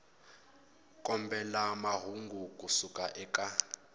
kombela mahungu ku suka eka